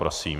Prosím.